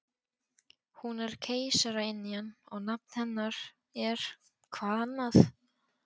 Hún er keisaraynjan og nafn hennar er-hvað annað?